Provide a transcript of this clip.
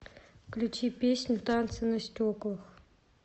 включи песню танцы на стеклах